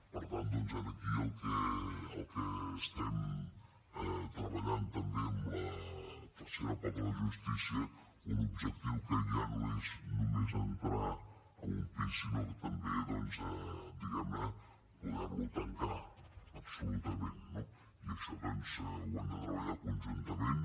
per tant doncs aquí el que estem treballant també amb la tercera pota de la justícia un objectiu que ja no és només entrar en un pis sinó que també diguem ne poder lo tancar absolutament no i això doncs ho hem de treballar conjuntament